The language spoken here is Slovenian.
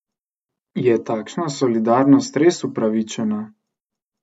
Je takšna solidarnost res upravičena?